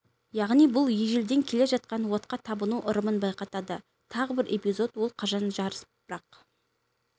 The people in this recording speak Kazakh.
яғни бұл ежелден келе жатқан отқа табыну ырымын байқатады тағы бір эпизод ол қазан жарыс бірақ